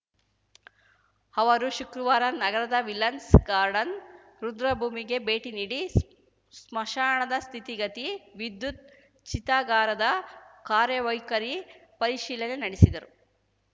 ಅವರು ಶುಕ್ರವಾರ ನಗರದ ವಿಲನ್ಸ್ ಗಾರ್ಡನ್‌ ರುದ್ರಭೂಮಿಗೆ ಭೇಟಿ ನೀಡಿ ಸ್ಮಶಾನದ ಸ್ಥಿತಿಗತಿ ವಿದ್ಯುತ್‌ ಚಿತಾಗಾರದ ಕಾರ್ಯವೈಖರಿ ಪರಿಶೀಲನೆ ನಡೆಸಿದರು